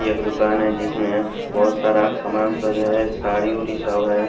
एक दुकान है जिसमें बहुत सारा सामान सब है सारी उड़ी सब है।